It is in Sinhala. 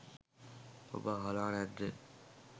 ඔබ අහල නැද්ද.